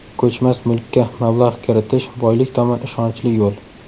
Ko‘chmas mulkka mablag‘ kiritish boylik tomon ishonchli yo‘l.